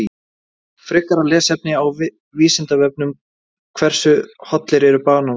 Frekara lesefni á Vísindavefnum: Hversu hollir eru bananar?